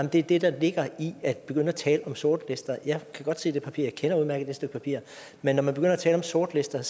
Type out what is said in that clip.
det er det der ligger i at begynde at tale om sortlister jeg kan godt se det papir jeg kender udmærket det stykke papir men når man begynder at tale om sortlister